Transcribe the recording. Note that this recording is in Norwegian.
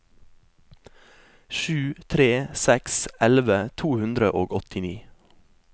sju tre tre seks elleve to hundre og åttini